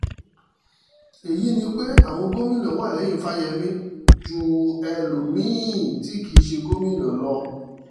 èyí ni pé àwọn gómìnà wà lẹ́yìn fáyemí ju ẹlòmí-ín tí kì í ṣe gómìnà lọ